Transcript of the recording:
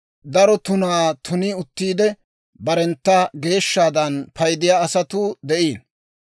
Daro tunaa tuni uttiide, barentta geeshshaadan paydiyaa asatuu de'iino.